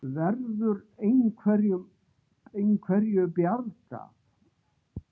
Verður einhverju bjargað?